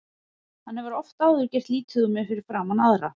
Hann hefur oft áður gert lítið úr mér fyrir framan aðra.